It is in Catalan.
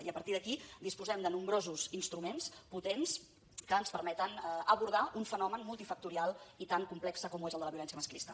i a partir d’aquí disposem de nombrosos instruments potents que ens permeten abordar un fenomen multifactorial i tan complex com ho és el de la violència masclista